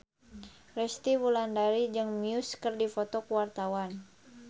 Resty Wulandari jeung Muse keur dipoto ku wartawan